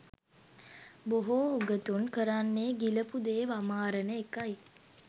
බොහෝ උගතුන් කරන්නේ ගිලපු දේ වමාරන එකයි